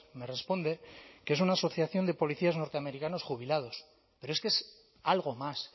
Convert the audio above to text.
me responde que es una asociación de policías norteamericanos jubilados pero es que es algo más